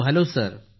hello